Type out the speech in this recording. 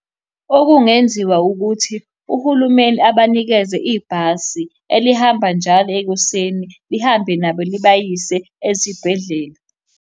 Okungenziwa ukuthi uhulumeni abanikeze ibhasi elihamba njalo ekuseni lihambe nabo libayise esibhedlela.